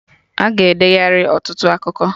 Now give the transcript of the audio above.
Aga edeghari ọtụtụ akụkọ